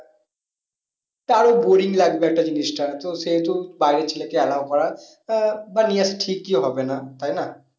তারও boring লাগবে একটা জিনিসটা তো সেহেতু বাইরের ছেলে কে allow করা আহ বা নেওয়াটা ঠিকই হবে না তাই না?